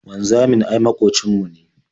Wanzamin ai maƙocin mu ne.